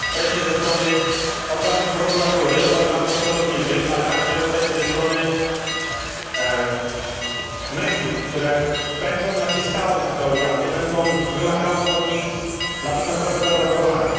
Presję ze strony prokuratury, organów sądowniczych, ale także presję ze strony mediów, które będą naciskały na te organy, będą wymagały od nich natychmiastowego raportowania.